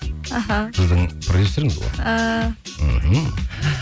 іхі сіздің продюсеріңіз ғой ііі мхм